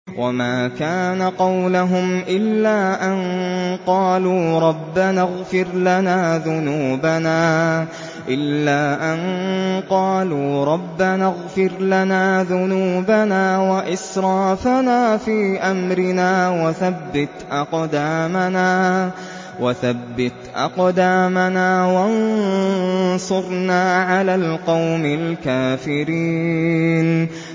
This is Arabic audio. وَمَا كَانَ قَوْلَهُمْ إِلَّا أَن قَالُوا رَبَّنَا اغْفِرْ لَنَا ذُنُوبَنَا وَإِسْرَافَنَا فِي أَمْرِنَا وَثَبِّتْ أَقْدَامَنَا وَانصُرْنَا عَلَى الْقَوْمِ الْكَافِرِينَ